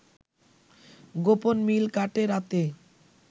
গোপন মিল কাটে/রাতে